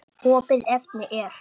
Opið efni er